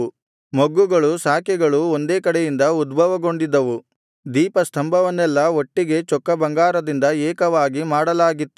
ಮೊಗ್ಗುಗಳು ಶಾಖೆಗಳು ಒಂದೇ ಕಡೆಯಿಂದ ಉದ್ಭವಗೊಂಡಿದ್ದವು ದೀಪಸ್ತಂಭವನ್ನೆಲ್ಲಾ ಒಟ್ಟಿಗೆ ಚೊಕ್ಕಬಂಗಾರದಿಂದ ಏಕವಾಗಿ ಮಾಡಲಾಗಿತ್ತು